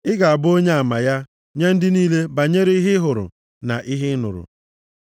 Ị ga-abụ onyeama ya nye ndị niile banyere ihe ị hụrụ na ihe ị nụrụ.